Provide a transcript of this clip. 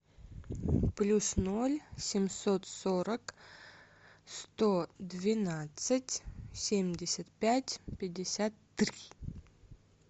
плюс ноль семьсот сорок сто двенадцать семьдесят пять пятьдесят три